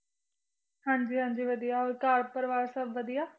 ਹਾਂਜੀ, ਹਾਂਜੀ ਵਧੀਆ ਹੋਰ ਘਰ ਪਰਿਵਾਰ ਸਭ ਵਧੀਆ?